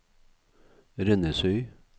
Rennesøy